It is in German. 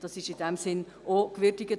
Das wurde gewürdigt.